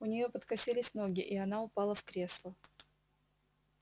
у неё подкосились ноги и она упала в кресло